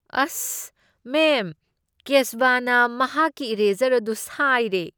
ꯑꯁ! ꯃꯦꯝ, ꯀꯦꯁꯕꯅ ꯃꯍꯥꯛꯀꯤ ꯏꯔꯦꯖꯔ ꯑꯗꯨ ꯁꯥꯏꯔꯦ꯫